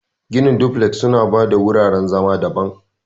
Ginin duflek suna ba da wuraren zama daban.